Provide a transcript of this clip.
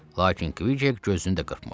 Lakin Kk gözünü də qırpmır.